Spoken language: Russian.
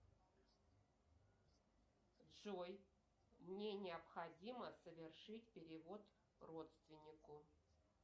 джой мне необходимо совершить перевод родственнику